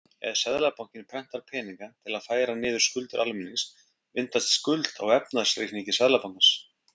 Ef Seðlabankinn prentar peninga til að færa niður skuldir almennings myndast skuld á efnahagsreikningi Seðlabankans.